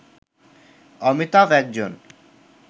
অমিতাভ একজন